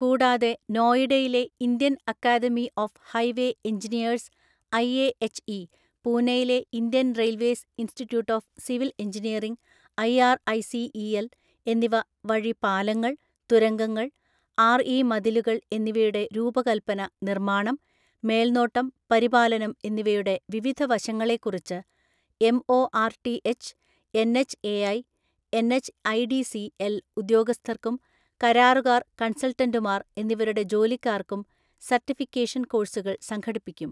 കൂടാതെ, നോയിഡയിലെ Indian academy of highway engineers IAHE, പൂനെയിലെ Indian railways institute of civil engineering IRICEL എന്നിവ വഴി പാലങ്ങൾ, തുരങ്കങ്ങൾ, ആർഇ മതിലുകൾ എന്നിവയുടെ രൂപകൽപ്പന, നിർമ്മാണം, മേൽനോട്ടം, പരിപാലനം എന്നിവയുടെ വിവിധ വശങ്ങളെക്കുറിച്ച് എംഒആർടിഎച്ച്, എൻഎച്ച്എഐ, എൻഎച്ച്ഐഡിസിഎൽ ഉദ്യോഗസ്ഥർക്കും, കരാറുകാർ കൺസൾട്ടന്റുമാർ എന്നിവരുടെ ജോലിക്കാർക്കും സർട്ടിഫിക്കേഷൻ കോഴ്സുകൾ സംഘടിപ്പിക്കും.